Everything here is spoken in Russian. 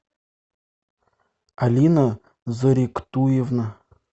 алина зуриктуевна